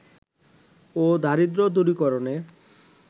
ও দারিদ্র দূরীকরণে